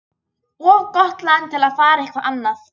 Of gott land til að fara eitthvað annað.